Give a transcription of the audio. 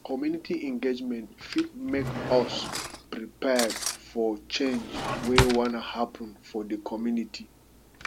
community engagement fit make us prepare for change wey wan happen for the community